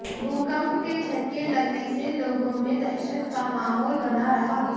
भूकंप के झटके लगने से लोगों में दहशत का माहौल बना रहा